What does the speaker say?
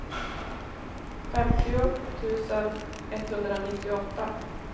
femtio tusen etthundranittioåtta